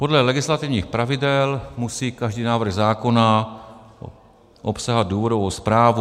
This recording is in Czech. Podle legislativních pravidel musí každý návrh zákona obsahovat důvodovou zprávu...